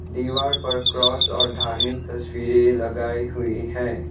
दीवार पर क्रॉस और धार्मिक तस्वीरें लगाई हुई हैं।